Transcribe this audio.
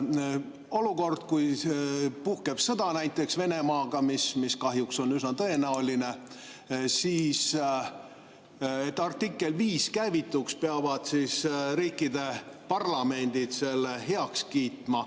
Olukorras, kui puhkeb sõda näiteks Venemaaga, mis kahjuks on üsna tõenäoline, peavad selleks, et artikkel 5 käivituks, riikide parlamendid selle heaks kiitma.